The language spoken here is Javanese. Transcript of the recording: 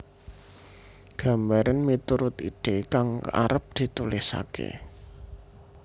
Gambaren miturut ide kang arep ditulisake